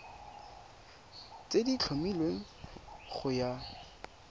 tse di tlhomilweng go ya